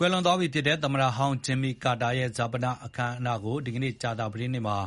ကွယ်လွန်သွားပြီဖြစ်တဲ့ သမ္မတဟောင်း Jimmy Carter ရဲ့ ဈာပနအခမ်းအနားကို ဒီကနေ့ ကြာသပတေးနေ့မှာ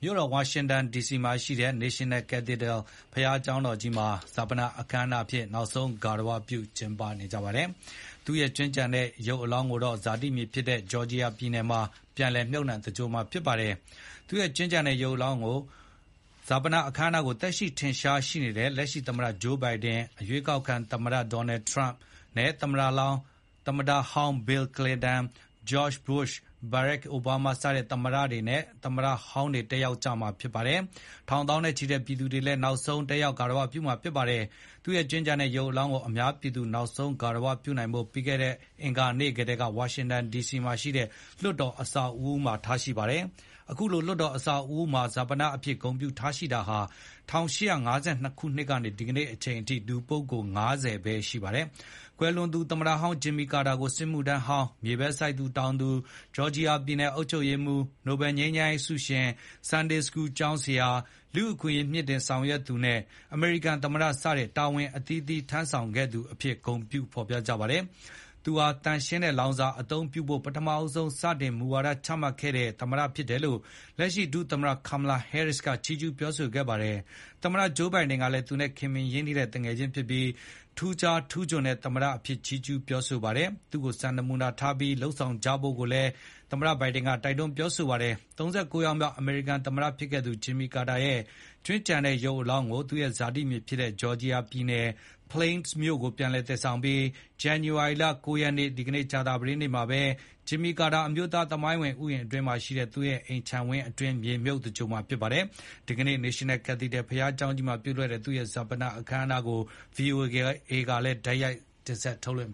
မြို့တော်ဝါ ရှင်တန်ဒီစီမှာရှိတဲ့ National Cathedral ဘုရားကျောင်းကြီးမှာ နိုင်ငံတော်ဈာပနအဖြစ် နောက်ဆုံး ဂါရဝပြု ကျင်းပမှာဖြစ်ပါတယ်။ သူ့ရဲ့ ကြွင်းကျန်ရစ်တဲ့ ရုပ်ကလာပ်ကိုတော့ ဇာတိမြေဖြစ်တဲ့ Georgia ပြည်နယ်မှာ ပြန်လည် မြှုပ်နှံသင်္ဂြိုဟ်မှာ ဖြစ်ပါတယ်။ ဈာပနအခမ်းအနားကို သက်ရှိထင်ရှားရှိနေတဲ့လက်ရှိသမ္မတ Joe Biden ၊ အရွေးကောက်ခံသမ္မတ Donald Trump နဲ့သမ္မတဟောင်း Bill Clinton ၊ George Bush ၊ Barak Obama စတဲ့ သမ္မတနဲ့သမ္မတဟောင်းတွေ တက်ရောက်ကြမှာ ဖြစ်ပါတယ်။ ထောင် သောင်းနဲ့ချီတဲ့ ပြည်သူတွေလည်း နောက်ဆုံး လာရောက်ဂါရဝပြုကြပါတယ်။ သူ့ရဲ့ကြွင်းကျန်တဲ့ရုပ်ကလာပ်ကို အများပြည်သူနောက်ဆုံး ဂါရဝပြုနိုင်ဖို့ ပြီးခဲ့တဲ့အင်္ဂါနေ့ကတည်းက ဝါရှင်တန်ဒီစီမှာရှိတဲ့ လွှတ်တော်အဆောက်အဦးမှာ ထားရှိပါတယ်။ အခုလို လွှတ်တော် အဆောက်အဦးမှာ ဈာပနအဖြစ် ဂုဏ်ပြုထားရှိတာဟာ ၁၈၅၂ ခုနှစ်ကနေ အခုချိန်ထိ လူပုဂ္ဂိုလ် ၅၀ ပဲ ရှိပါတယ်။ ကွယ်လွန်သူ သမ္မတဟောင်း Jimmy Carter ကို စစ်မှုထမ်းဟောင်း၊ မြေပဲစိုက်တောင်သူ၊ Georgia ပြည်နယ်အုပ်ချုပ်ရေးမှူး၊ နိုဘယ်ငြိမ်းချမ်းရေးဆုရှင်၊ Sunday School ကျောင်းဆရာ၊ လူ့အခွင့်အရေးမြှင့်တင်ဆောင်ရွက်သူ နဲ့ အမေရိကန်သမ္မတ စတဲ့ တာဝန်အသီးသီးထမ်း ဆောင်ခဲ့သူအဖြစ် ဂုဏ်ပြု ဖေါ်ပြကြပါတယ်။ သူဟာ သန့်ရှင်းတဲ့လောင်စာအသုံးပြုဖို့ ပထမဆုံး စတင်မူဝါဒချမှတ်ခဲ့တဲ့ သမ္မတဖြစ်တယ်လို့ လက်ရှိ ဒုသမ္မတ Kamala Harris ကလည်း ချီးကျူးပြောဆိုခဲ့ပါတယ်။ သမ္မတ Joe Biden ကလည်း သူနဲ့ ခင်မင်ရင်းနှီးတဲ့မိတ်ဆွေဖြစ်ပြီး ထူးခြားထူးချွန်တဲ့သမ္မတအဖြစ် ချီးကျူးပြောဆိုခဲ့သလို သူ့ကို စံနမူနာထားပြီး လုပ်ဆောင်ကြဖို့ တိုက်တွန်းပြောဆိုခဲ့ပါတယ်။ ၃၉ ယောက်မြောက် အမေရိကန်သမ္မတဖြစ်ခဲ့သူ Jimmy Carter ရဲ့ ကြွင်းကျန်တဲ့ရုပ်ကလာပ်ကို သူရဲ့ဇာတိဖြစ်တဲ့ Georgia ပြည်နယ်၊ Plains မြို့ကို ပြန်လည်သယ်ဆောင်ပြီး ဇန္နဝါရီလ ၉ ရက်နေ့ ကြာသပတေးနေ့မှာပဲ Jimmy Carter အမျိုးသားသမိုင်းဝင် ဥယျာဉ်အတွင်းမှာရှိတဲ့ သူ့ရဲ့ အိမ်ခြံဝင်းအတွင်း မြေမြှုပ် သင်္ဂြိုဟ်မှာဖြစ်ပါတယ်။ ဒီကနေ့ National Cathedral ဘုရားကျောင်းကြီးမှာပြုလုပ်တဲ့ သူရဲ့ဈာပနအခမ်းအနားကို VOA ကလည်း တိုက်ရိုက် ထုတ်လွှင့်